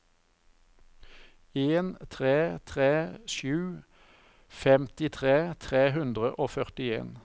en tre tre sju femtitre tre hundre og førtien